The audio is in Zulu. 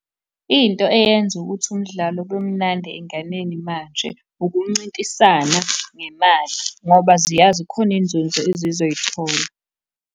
Into eyenza ukuthi umdlalo ube munandi ey'nganeni manje ukuncintisana ngemali, ngoba ziyazi khona inzunzo ezizoyithola.